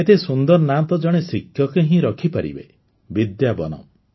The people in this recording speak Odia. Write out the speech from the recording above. ଏତେ ସୁନ୍ଦର ନାଁ ତ ଜଣେ ଶିକ୍ଷକ ହିଁ ରଖିପାରିବେ ବିଦ୍ୟା ବନମ୍